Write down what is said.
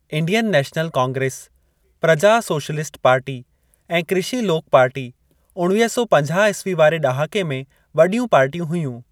Indian National Congress, Praja Socialist Party, ऐं Krishi Lok Party उणवीह सौ पंजाह ईस्वी वारे ॾहाके में वॾियूं पार्टियूं हुयूं।